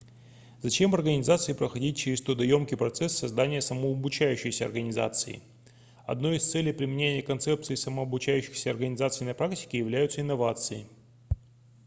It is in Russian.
зачем организации проходить через трудоёмкий процесс создания самообучающейся организации одной из целей применения концепций самообучающихся организаций на практике являются инновации